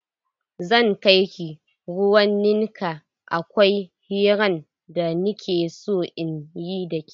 Zan kaiki ruwan ninkaya akwai hiran da nike so in yi dake.